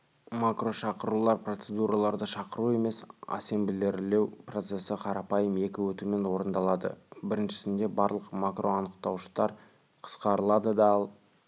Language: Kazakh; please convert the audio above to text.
макрошақырулар процедураларды шақыру емес ассемблерлеу процесі қарапайым екі өтумен орындалады біріншісінде барлық макроанықтауыштар қысқарылады да ал